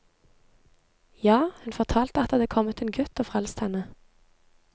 Ja, hun fortalte at det hadde kommet en gutt og frelst henne.